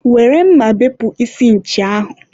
were mma bepụ isi nchi ahụ!